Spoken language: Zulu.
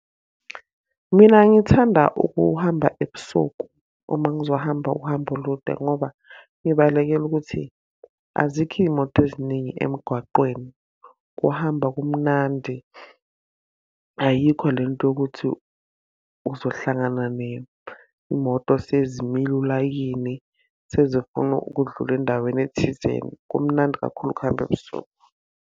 Mina ngithanda ukuhamba ebusuku, uma ngizohamba uhambo olude ngoba ngibalekela ukuthi, azikho iy'moto eziningi emgwaqweni. Kuhamba kumnandi, ayikho lento yokuthi uzohlangana ney'moto sezimile ulayini sezifuna ukudlula endaweni thizeni. Kumnandi kakhulu ukuhamba ebusuku.